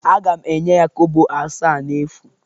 Aga m enye ya kobo asaa n'efu